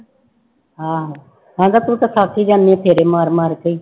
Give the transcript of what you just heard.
ਆਹੋ ਕਹਿੰਦਾ ਤੂੰ ਤਾਂ ਥੱਕ ਹੀ ਜਾਂਦੀ ਹੈ ਫੇਰੇ ਮਾਰ ਮਾਰ ਕੇ ਹੀ।